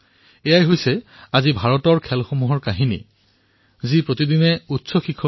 এয়াই হল আজিৰ ভাৰতীয় খেলৰ কাহিনী যি আকাশ স্পৰ্শ কৰিছে